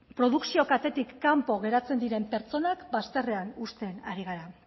produkzio katetik kanpo geratzen diren pertsonak baztarrean uzten ari gara